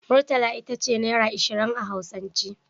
Murtala itace naira ashirin a hausance